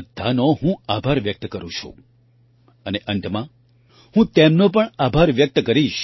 તે બધાનો હું આભાર વ્યક્ત કરું છું અને અંતમાં હું તેમનો પણ આભાર વ્યક્ત કરીશ